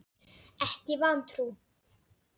Ekki vantrú.